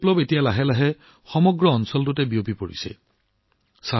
এই ফুটবল বিপ্লৱ এতিয়া লাহে লাহে সমগ্ৰ অঞ্চলটোত বিয়পি পৰিছে